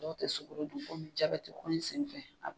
Dɔw tɛ sukaro dun komi jabɛti ko in sen fɛ.